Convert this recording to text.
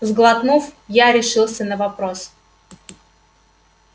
сглотнув я решился на вопрос